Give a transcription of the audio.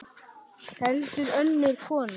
Heldur önnur kona.